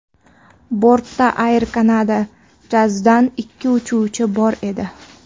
Bortda Air Canada Jazz’dan ikki uchuvchi bor edi.